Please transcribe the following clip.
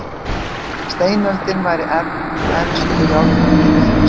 Steinöldin væri elst og járnöldin yngst.